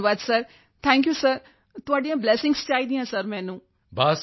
ਧੰਨਵਾਦ sir thank you sir ਤੁਹਾਡੀਆਂ blessings ਚਾਹੀਦੀਆਂ ਸਰ ਮੈਨੂੰ